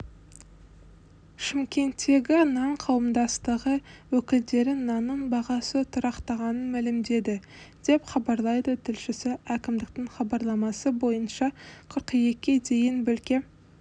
шымкенттегі нан қауымдастығы өкілдері нанның бағасы тұрақтағанын мәлімдеді деп хабарлайды тілшісі әкімдіктің хабарламасы бойынша қыркүйекке дейінбөлке